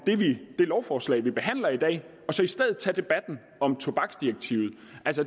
det lovforslag vi behandler i dag og så i stedet tage debatten om tobaksdirektivet